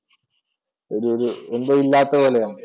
ഒരുഒരു എന്തോ ഇല്ലാത്ത പോലെയാണ്.